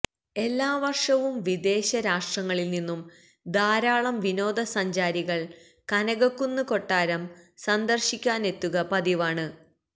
എല്ലാ വര്ഷവും വിദേശ രാഷ്ട്രങ്ങളില് നിന്നും ധാരാളം വിനോദ സഞ്ചാരികള് കനകക്കുന്ന് കൊട്ടാരം സന്ദര്ശിക്കാനെത്തുക പതിവാണ്